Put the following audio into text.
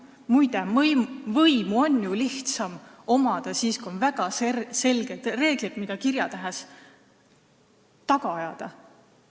Muide, võimu on ju lihtsam omada siis, kui on olemas väga selged reeglid, mida saab kirjatähe abil taga ajada.